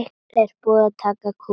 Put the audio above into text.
Þú verður að reikna Pétur.